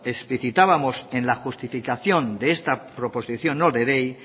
especificábamos en la justificación de esta proposición no de ley